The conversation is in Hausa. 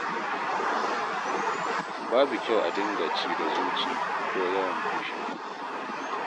Babu kyau a dinga ci da zuci ko yawan fushi.